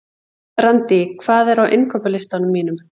Í hverri umferð er annarri hvorri þessara reglna beitt.